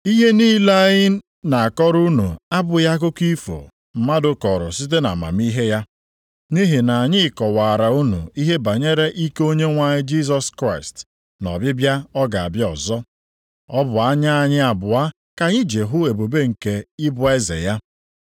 Ihe niile anyị na-akọrọ unu abụghị akụkọ ifo mmadụ kọrọ site nʼamamihe ya. Nʼihi na anyị kọwaara unu ihe banyere ike Onyenwe anyị Jisọs Kraịst na ọbịbịa ọ ga-abịa ọzọ. Ọ bụ anya anyị abụọ ka anyị ji hụ ebube nke ịbụ eze ya.